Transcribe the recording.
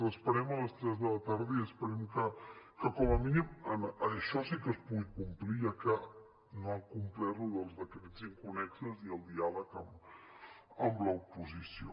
l’esperem a les tres de la tarda i esperem que com a mínim això sí que es pugui complir ja que no ha complert allò dels decrets inconnexos i el diàleg amb l’oposició